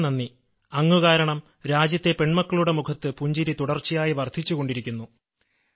വളരെ നന്ദി അങ്ങ് കാരണം രാജ്യത്തെ പെൺമക്കളുടെ മുഖത്ത് പുഞ്ചിരി തുടർച്ചയായി വർദ്ധിച്ചുകൊണ്ടിരിക്കുന്നു